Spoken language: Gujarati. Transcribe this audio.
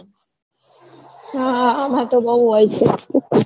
હા માર તો બૌ હોય છે